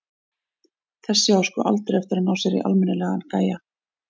Þessi á sko aldrei eftir að ná sér í almennilegan gæja.